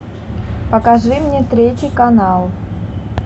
покажи мне третий канал